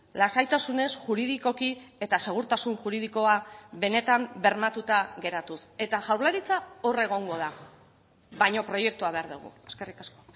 lasaitasunez juridikoki eta segurtasun juridikoa benetan bermatuta geratuz eta jaurlaritza hor egongo da baina proiektua behar dugu eskerrik asko